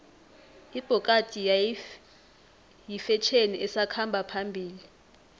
ibhokadi yifetjheni esakhamba phambili